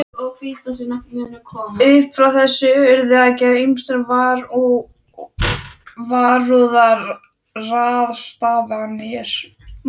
Upp frá þessu þurfti að gera ýmsar varúðarráðstafanir.